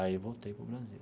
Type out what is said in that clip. Aí voltei para o Brasil.